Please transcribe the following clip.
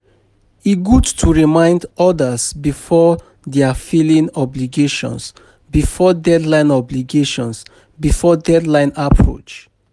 E good to remind others about their filing obligations before deadline obligations before deadline approach.